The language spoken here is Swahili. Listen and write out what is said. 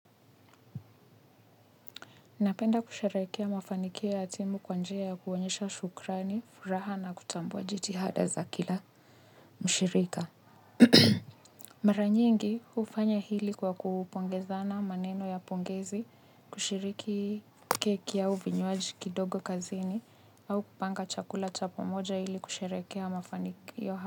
Napenda kushereherekea mafanikio ya timu kwa njia ya kuonyesha shukrani furaha na kutambua jitihada za kila mshirika. Maranyi ingi ufanya hili kwa kupongezana maneno ya pongezi, kushiriki keki ya uvinyuaji kidogo kazini, au kupanga chakula chapamoja hili kusharekea mafanikio ya hatimu.